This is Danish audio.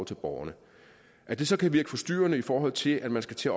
til borgerne at det så kan virke forstyrrende i forhold til at man skal til